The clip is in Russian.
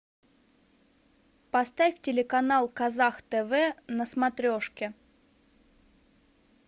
поставь телеканал казах тв на смотрешке